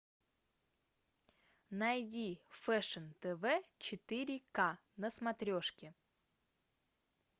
найди фэшн тв четыре ка на смотрешке